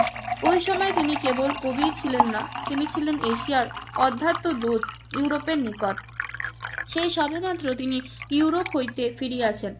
ওই সময় তিনি কেবল কবিই ছিলেন না তিনি ছিলেন এশিয়ার অধ্যাত্ম দূত ইউরোপের নিকট। সেই সবেমাত্র তিনি ইউরোপ হইতে ফিরিয়াছেন,